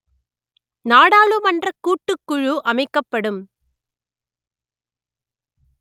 நாடாளுமன்றக் கூட்டுக்குழு அமைக்கப்படும்